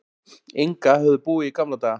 Inga höfðu búið í gamla daga.